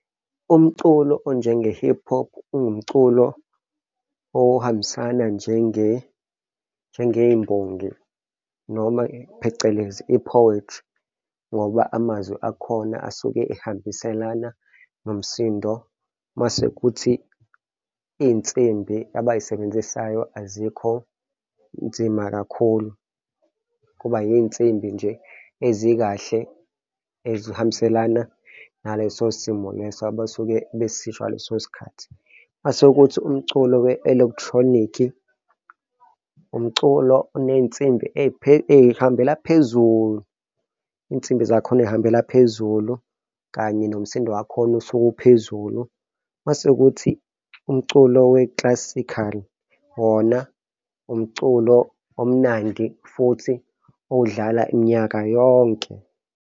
Umculo onjenge-hip-hop, ungumculo ohambisana njenge, njengey'mbongi noma phecelezi i-poetry ngoba amazwi akhona asuke ehambiselana nomsindo. Mase kuthi iy'nsimbi abay'sebenzisayo azikho nzima kakhulu kuba iy'nsimbi nje ezikahle ezihambiselana naleso simo leso abasuke besisho ngaleso sikhathi. Mase-ke kuthi umculo we-electronic-i, umculo oney'nsimbi ey'hambela phezulu, iy'nsimbi zakhona ey'hambela phezulu kanye nomsindo wakhona usuka uphezulu. Mase kuthi umculo we-classical wona umculo omnandi futhi odlala minyaka yonke.